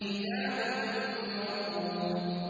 كِتَابٌ مَّرْقُومٌ